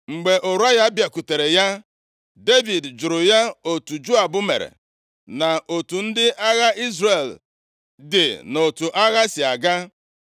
Mgbe Ụraya bịakwutere ya, Devid jụrụ ya otu Joab mere, na otu ndị agha Izrel dị na otu agha si aga.